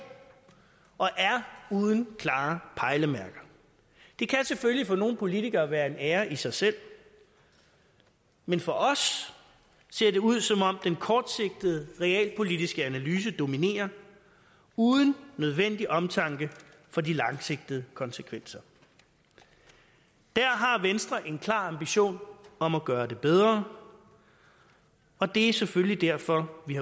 og er uden klare pejlemærker det kan selvfølgelig for nogle politikere være en ære i sig selv men for os ser det ud som om den kortsigtede realpolitiske analyse dominerer uden nødvendig omtanke for de langsigtede konsekvenser der har venstre en klar ambition om at gøre det bedre og det er selvfølgelig derfor vi